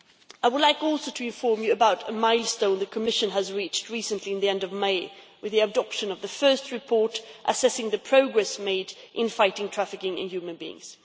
I would also like to inform you about a milestone the Commission reached recently, at the end of May, with the adoption of the first report assessing the progress made in fighting trafficking in human beings.